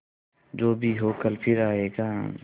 जो भी हो कल फिर आएगा